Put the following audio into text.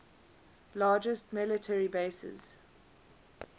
largest military bases